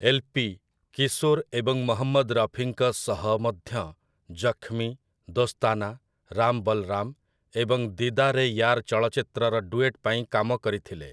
LP. Kishore ଏବଂ ମହମ୍ମଦ୍ ରଫିଙ୍କ ସହ ମଧ୍ୟ 'ଜଖ୍‌ମୀ', 'ଦୋସ୍ତାନା', 'ରାମ୍ ବଲ୍‌ରାମ୍' ଏବଂ 'ଦୀଦାର୍ ଏ ୟାର୍' ଚଳଚ୍ଚିତ୍ରର ଡୁଏଟ୍ ପାଇଁ କାମକରିଥିଲେ ।